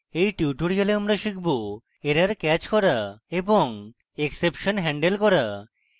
in tutorial আমরা শিখব